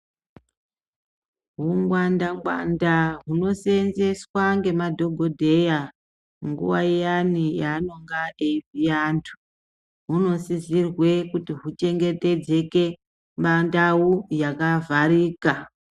Hungwanda ngwanda hunoseenzeswa ngema dhokodheya nguwa iyani yaanonga eyivhiya antu hunosisirwe kuti huchengetedzeke pandau yakavharika.